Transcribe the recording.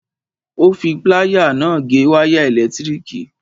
Ó fi pláyà náà gé wáyà ẹ̀lẹ̀tíríkì.